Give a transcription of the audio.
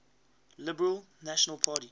liberal national party